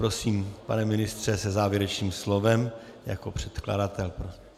Prosím, pane ministře, se závěrečným slovem jako předkladatel.